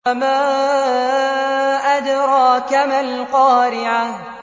وَمَا أَدْرَاكَ مَا الْقَارِعَةُ